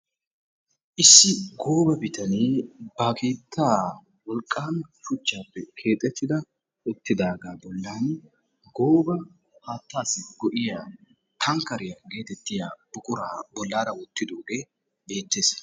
Issi gooba bitanee keettaa wolqqaama shuchchaappe keexxettida uttiddaagaa bollan gooba haattaassi go'iya tankkeriya geettettiya buquraa bollaraa wottiddoogee beettees.